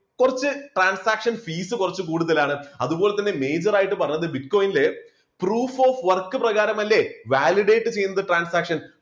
കുറച്ച് transaction fees കുറച്ചു കൂടുതലാണ് അതുപോലെ തന്നെ major ആയിട്ട് പറയുന്നത് bitcoin proof of work പ്രകാരമല്ലേ validate ചെയ്യുന്നത് transaction.